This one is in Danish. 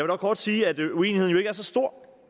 dog kort sige at uenigheden jo ikke er så stor